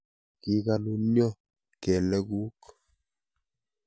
Kikonunya kelek kuk.